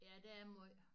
Ja der er måj